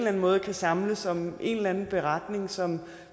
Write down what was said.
anden måde kan samles om en eller anden beretning som